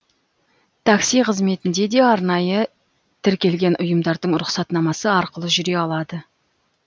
такси қызметінде де арнайы тіркелген ұйымдардың рұқсатнамасы арқылы жүре алады